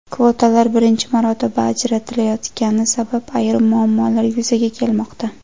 Kvotalar birinchi marotaba ajratilayotgani sabab ayrim muammolar yuzaga kelmoqda.